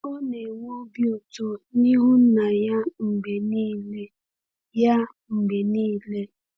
Ọ na-enwe obi ụtọ n’ihu Nna ya mgbe niile. ya mgbe niile.